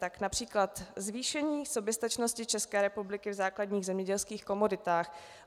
Tak například zvýšení soběstačnosti České republiky v základních zemědělských komoditách.